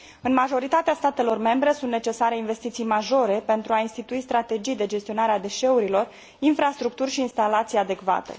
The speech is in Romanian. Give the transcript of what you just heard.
În majoritatea statelor membre sunt necesare investiții majore pentru a institui strategii de gestionare a deșeurilor, infrastructuri și instalații adecvate.